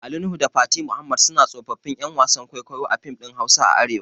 Ali Nuhu da Fati Muhammad suna tsofaffin ƴan wasan kwaikwayo a fim ɗin Hausa a arewa